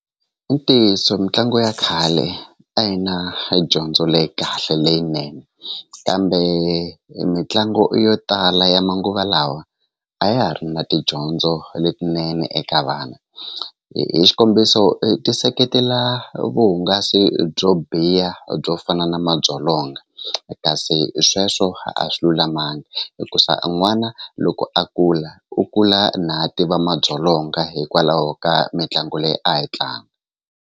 I ntiyiso mitlangu ya khale a hi na edyondzo leyi kahle leyinene kambe mitlangu yo tala ya manguva lawa a ya ha ri na tidyondzo letinene eka vana hi xikombiso ti seketela vuhungasi byo biha byo fana na madzolonga kasi sweswo a swi lulamangi hikusa a n'wana loko a kula u kula na a ti va madzolonga hikwalaho ka mitlangu leyi a yi tlanga.